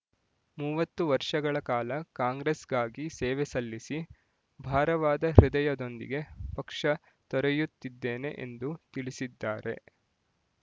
ಮೂವತ್ತು ವರ್ಷಗಳ ಕಾಲ ಕಾಂಗ್ರೆಸ್ ಗಾಗಿ ಸೇವೆ ಸಲ್ಲಿಸಿ ಭಾರವಾದ ಹೃದಯದೊಂದಿಗೆ ಪಕ್ಷ ತೊರೆಯುತ್ತಿದ್ದೇನೆ ಎಂದು ತಿಳಿಸಿದ್ದಾರೆ